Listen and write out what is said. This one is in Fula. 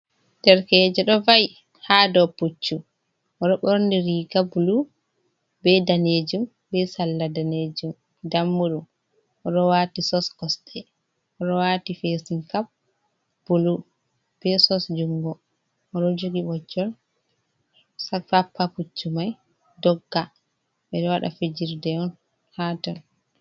Derkeje ɗo va’i ha dou pucchu, oɗo ɓorni riga blu be danejum, be sala ndamu ɗum, oɗo wati sos costei oɗo wati fesing cap bulu, be sos jungo, oɗo jogi ɓochol tappa pucchu mai dogga, ɓeɗo waɗa fijirde on ha ton.